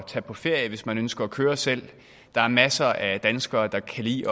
tage på ferie hvis man ønsker at køre selv der er masser af danskere der kan lide